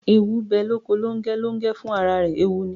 Eewu bẹ loko Longẹ, Longẹ fun ará rẹ eewu ní